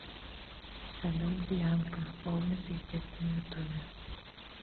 салют бьянка полный пиздец на ютубе